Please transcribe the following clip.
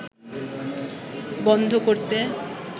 বন্ধ করতে